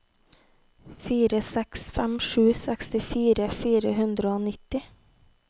fire seks fem sju sekstifire fire hundre og nittini